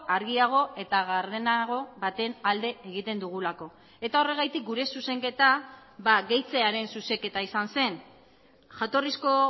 argiago eta gardenago baten alde egiten dugulako eta horregatik gure zuzenketa gehitzearen zuzenketa izan zen jatorrizko